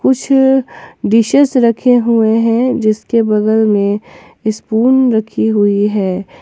कुछ डिशेस रखे हुए हैं जिसके बगल में स्पून रखी हुई है।